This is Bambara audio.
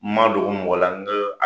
N ma dɔgɔ mɔgɔ la, n ko